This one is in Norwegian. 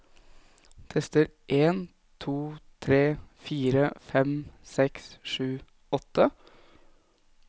Tester en to tre fire fem seks sju åtte